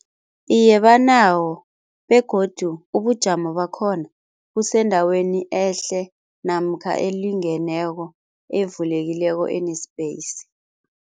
Iye banawo begodu ubujamo bakhona busendaweni ehle namkha elingeneko evulekileko ene-space.